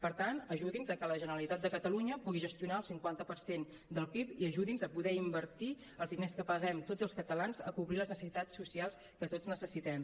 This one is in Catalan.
per tant ajudi’ns a que la generalitat de catalunya pugui gestionar el cinquanta per cent del pib i ajudi’ns a poder invertir els diners que paguem tots els catalans a cobrir les necessitats socials que tots necessitem